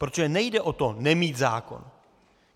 Protože nejde o to nemít zákon.